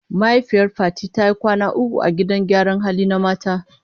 Mahaifiyar Fati ta yi kwana uku a gidan gyaran hali na mata.